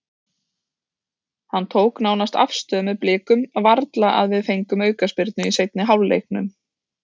Hann tók nánast afstöðu með Blikum, varla að við fengjum aukaspyrnu í seinni hálfleiknum.